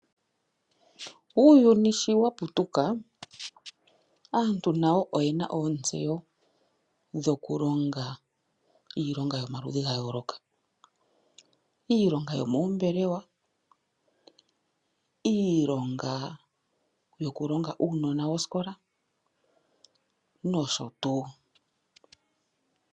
Uuyuni shi waputuka aantu nayo oye na ootsewo dhoku longa iilonga yomaludhi gayooloka. Iilonga yo moombelewa, iilonga yo ku longa uunona wosikola nosho tuu.